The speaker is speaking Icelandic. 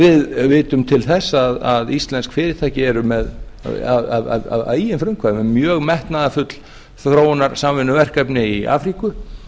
við vitum til þess að íslensk fyrirtæki eru að eigin frumkvæði með mjög metnaðarfull þróunarsamvinnuverkefni í afríku